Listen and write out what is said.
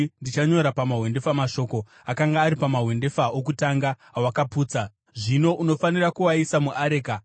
Ndichanyora pamahwendefa mashoko akanga ari pamahwendefa okutanga awakaputsa. Zvino unofanira kuaisa muareka.”